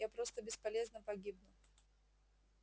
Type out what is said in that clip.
я просто бесполезно погибну